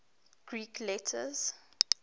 greek letters